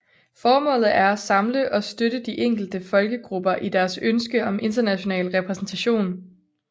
Formålet er at samle og støtte de enkelte folkegrupper i deres ønske om international repræsentation